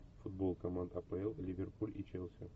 футбол команд апл ливерпуль и челси